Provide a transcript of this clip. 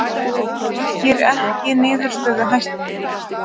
Rengir ekki niðurstöðu Hæstaréttar